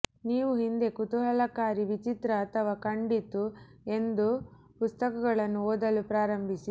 ನೀವು ಹಿಂದೆ ಕುತೂಹಲಕಾರಿ ವಿಚಿತ್ರ ಅಥವಾ ಕಂಡಿತು ಎಂದು ಪುಸ್ತಕಗಳನ್ನು ಓದಲು ಪ್ರಾರಂಭಿಸಿ